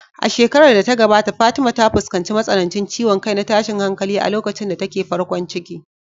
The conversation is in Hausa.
A shekarar da ta gabata Fatima ta fuskanci matsanancin ciwon kai na tashin hankali a lokacin da take farkon ciki.